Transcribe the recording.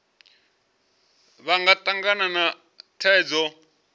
vha nga tangana na thaidzo